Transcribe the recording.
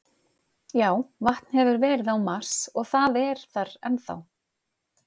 Já, vatn hefur verið á Mars og það er þar enn þá.